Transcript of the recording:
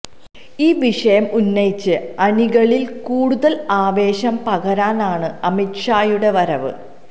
ഈ വിഷയം ഉന്നയിച്ച് അണികളില് കൂടുതല് ആവേശം പകരാനാണ് അമിത് ഷായുടെ വരവ്